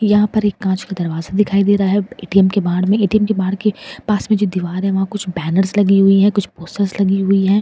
यहाँ पर एक काँच का एक दरवाज़ा दिखाई दे रहा है ए.टी.एम. के बाहड़ में ए.टी.एम. के बाहड़ के पास में जो दीवार है वहाँ कुछ बैनर्स लगी हुई हैं कुछ पोस्टर्स लगी हुई हैं।